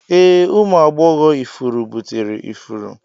Ee, ụmụ agbọghọ ifuru buteri ifuru.